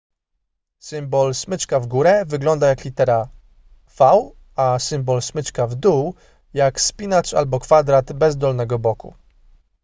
symbol smyczka w górę wygląda jak litera v a symbol smyczka w dół jak spinacz albo kwadrat bez dolnego boku